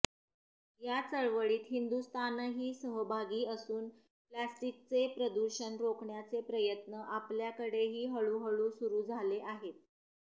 या चळवळीत हिंदुस्थानही सहभागी असून प्लॅस्टिकचे प्रदूषण रोखण्याचे प्रयत्न आपल्याकडेही हळूहळू सुरू झाले आहेत